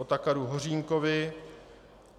Otakaru Hořínkovi